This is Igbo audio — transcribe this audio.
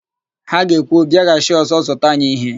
Ha ga-ekwu, " bịaghachi ọ̀zọ́ zụta anyị íhẹ́"!